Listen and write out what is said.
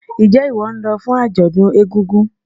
Njé ìwó nlo fún àjòdún egúngún?